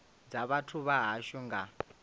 dza vhathu vha hashu nga